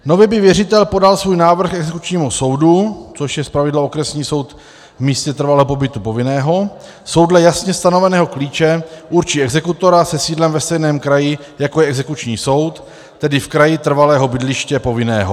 Nově by věřitel podal svůj návrh exekučnímu soudu, což je zpravidla okresní soud v místě trvalého pobytu povinného, soud dle jasně stanoveného klíče určí exekutora se sídlem ve stejném kraji, jako je exekuční soud, tedy v kraji trvalého bydliště povinného.